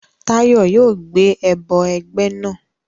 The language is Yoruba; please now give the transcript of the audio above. Tayo yoo gbe ẹbọ ẹgbẹ naa